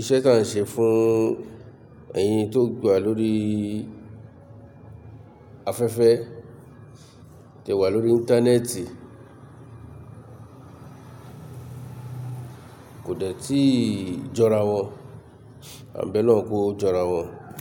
iṣẹ́ tá ń ṣe fún ẹ̀yin tó gba lórí afẹ́fẹ́ tẹ wà lórí Íńtánẹ́ẹ̀tì kò dẹ tí ì jọra wọn, àńbẹ́ Ọlọhun kò jọra wọn.